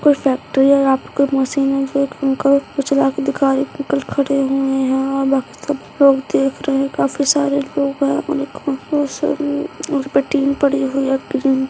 कोई फैक्ट्री है यहाँ पर कोई मशीन है जो एक अंकल उसको चला के दिखा रहे हैं एक अंकल खड़े हुए हैं और बाकी सब लोग देख रहे हैं काफी सारे लोग हैं उस पे टीन पड़ी हुई है ग्रीन ।